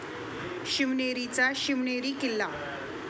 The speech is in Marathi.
शिवनेरीचा शिवनेरी किल्ला